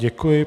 Děkuji.